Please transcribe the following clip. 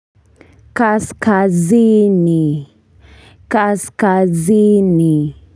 Kaskazini kaskazini.